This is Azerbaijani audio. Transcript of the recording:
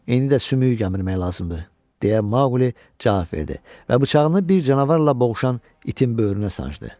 İndi də sümüyü gəmirmək lazımdır, deyə Maqli cavab verdi və bıçağını bir canavarla boğuşan itin böyrünə sancdı.